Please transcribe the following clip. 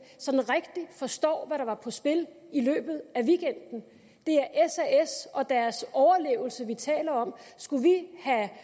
rigtig forstår hvad der var på spil i løbet af weekenden det er sas og deres overlevelse vi taler om skulle vi have